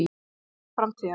Hugsa um framtíðina.